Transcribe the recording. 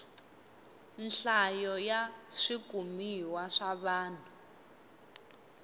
nhlayo ya swikumiwa swa vanhu